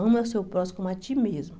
Ama o seu próximo como a ti mesmo.